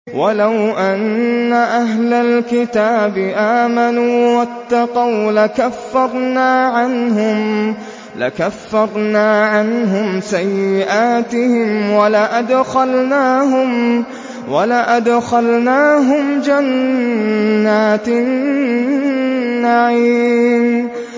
وَلَوْ أَنَّ أَهْلَ الْكِتَابِ آمَنُوا وَاتَّقَوْا لَكَفَّرْنَا عَنْهُمْ سَيِّئَاتِهِمْ وَلَأَدْخَلْنَاهُمْ جَنَّاتِ النَّعِيمِ